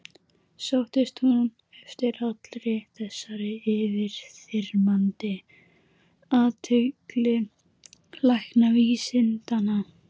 Sóttist hún eftir allri þessari yfirþyrmandi athygli læknavísindanna?